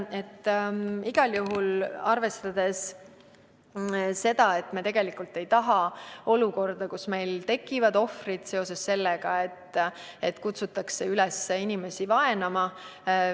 Igal juhul, me ei taha sellist olukorda, et tekiksid ohvrid seetõttu, et kutsutakse üles inimesi vaenama.